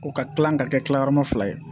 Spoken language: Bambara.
O ka kilan ka kɛ gilayɔrɔma fila ye